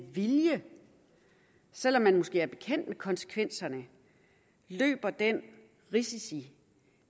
vilje selv om man måske er bekendt med konsekvenserne løber den risiko